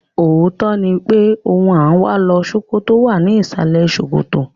Òótọ́ ni pé ohun à ń wá lọ Ṣókótó wà ní ìsàlẹ̀ ṣòkòtò.